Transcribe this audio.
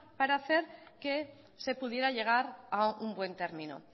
para hacer que se pudiera llegar a un buen término